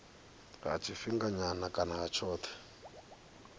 ha tshifhinganyana kana ha tshothe